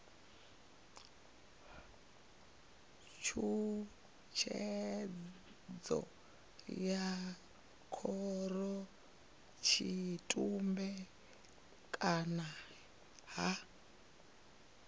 tshutshedzo ya khorotshitumbe kana ha